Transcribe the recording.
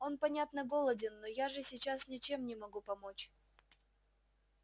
он понятно голоден но я же сейчас ничем не могу помочь